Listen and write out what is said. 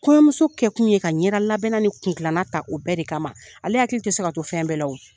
Kɔɲɔmuso kɛ kun ye ka ɲɛda labɛnna ni kun dilana ta o bɛɛ de kama ale hakili tɛ se ka to fɛn bɛɛ la o